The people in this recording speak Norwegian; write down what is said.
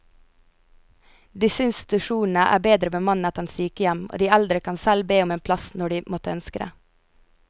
Disse institusjonene er bedre bemannet enn sykehjem, og de eldre kan selv be om en plass når de måtte ønske det.